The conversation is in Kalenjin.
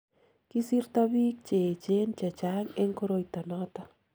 kisirto biik che echen che chang eng koroito noto